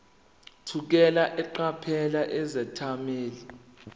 thukela eqaphela izethameli